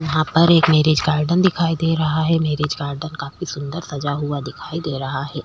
यहाँ पर एक मैरेज गार्डन दिखाई दे रहा है मैरेज गार्डन काफी सुन्दर सजा हुआ दिखाई दे रहा हैं।